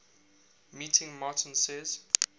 meeting martin says